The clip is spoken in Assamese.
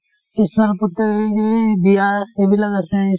এইবিলাক আছে